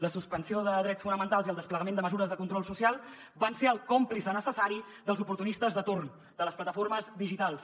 la suspensió de drets fonamentals i el desplegament de mesures de control social van ser el còmplice necessari dels oportunistes de torn de les plataformes digitals